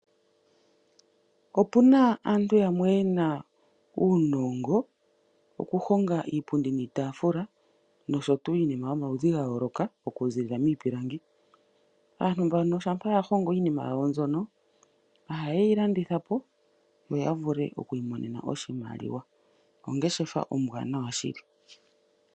Opuna aantu yamwe ye na uunongo okuhonga iipundi niitaafula nosho tuu iinima yomaludhi ga yooloka okuziilila miipilangi. Aantu mbano shampa ya hongo iinima yawo mbyono, oha ye yi landitha po , opo ya vule oku imonena oshimaliwa, ongeshefa ombwanawa shili.